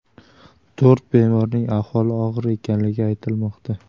To‘rt bemorning ahvoli og‘ir ekanligi aytilmoqda.